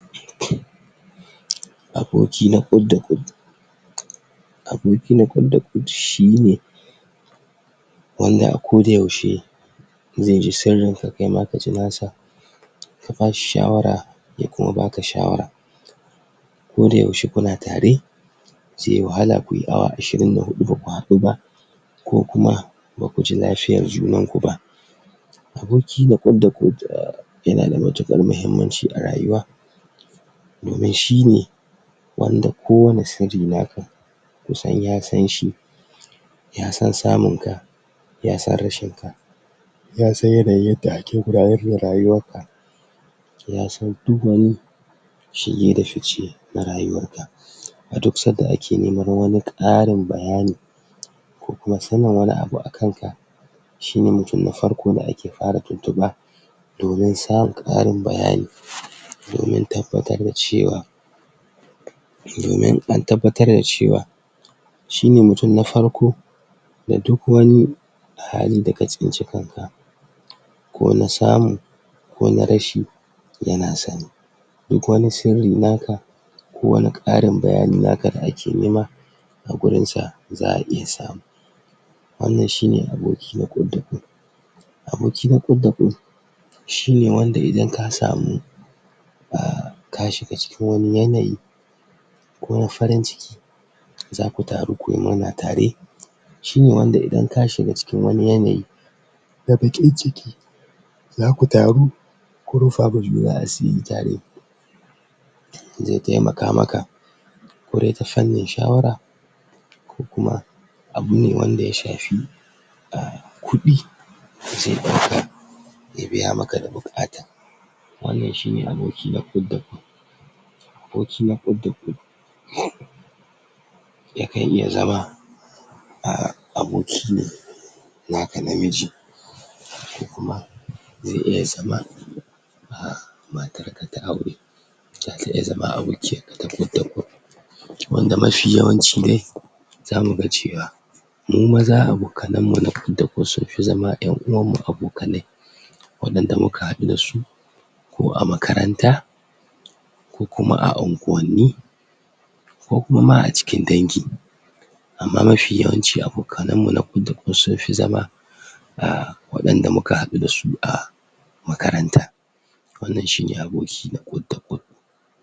Aboki na kwud da kwud. Aboki na kwud da kwud shine wanda a koda yaushe in yaji sanyinka kaima ka ji nasa. Ka bashi shawara ya kuma baka shawara koda yaushe kuna tare. Zai yi wahala ku yi awa ashirin da hudu ba ku haɗu ba ko kuma ba ku ji lafiyar juna ba. Aboki na kwud da kwud um yana da matuƙar mahimmanci a rayuwa, domin shine kowane sirrinka ka san ya sanshi. Yasan samun ka, yasan rashin ka, yasan yanayin da kake gudanar da rayuwarka, yasan duk wani shiga da fice na rayuwarka. A duk sanda ake neman wani karin bayani ko kuma sanin wani abu akan ka, shine mutum na farko da ake fara tuntuɓa domin karin bayani, domin tabbatar da cewa, domin an tabbatar da cewa shine mutum na farko. Da duk wani hali da ka tsinci kanka ko na samu ko na rashi yana sani. Duk wani sirrinka, kowane karin bayaninka da ake nema a gurinsa za a iya samu. Aboki na kwud da kwud. Aboki na kwud da kwud shine wanda idan ka samu um ka shiga cikin wani yanayi ko na farin ciki zaku taro ku yi murna tare. Shine wanda idan ka shiga wani yanayi na bakin ciki zaku taru ku rufawa juna asiri tare. Zai taimaka maka wurin ta fannin shawara ko kuma abu ne wanda ya shafi um kudi zai biya maka da bukata. Wannan shine aboki na kwud da kwud. Aboki na kwud da kwud yakan iya zama um aboki ne naka namiji ko kuma zai iya zama um matarka ta aure. Zata iya zama abokiyarka ta kwud da kwud. Wanda mafi yawanci ne za mu ga cewa mu maza abokanmu sun fi zama ’yan uwanmu abokanai waɗanda muka haɗu wasu ko a makaranta ko kuma a unguwanni ko kuma ma a cikin dangi. Amma mafi yawanci abokanmu na kwud da kwud sun fi zama um waɗanda muka haɗu da su a makaranta. Wannan shine aboki na kwud da kwud.